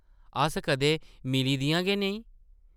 अस कदें मिली दियां गै नेईं ।